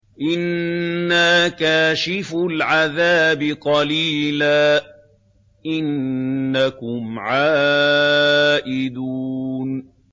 إِنَّا كَاشِفُو الْعَذَابِ قَلِيلًا ۚ إِنَّكُمْ عَائِدُونَ